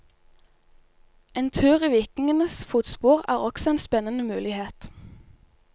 En tur i vikingenes fotspor er også en spennende mulighet.